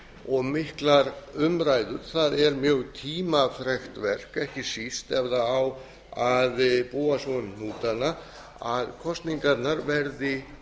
og miklar umræður það er mjög tímafrekt verk ekki síst ef það á að búa svo um hnútana að kosningarnar verði